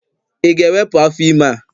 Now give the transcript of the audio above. Ị ga-ewepụ afọ ime a?